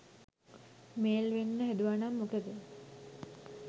Mail වෙන්න හැදුවනම් මොකද?